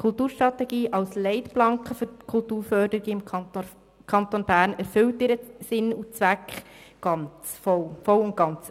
Die Kulturstrategie als Leitplanke für die Kulturförderung im Kanton Bern erfüllt ihren Zweck voll und ganz.